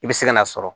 I bɛ se ka n'a sɔrɔ